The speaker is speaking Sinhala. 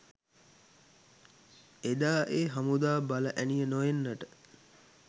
එදා ඒ හමුදා බල ඇණිය නො එන්නට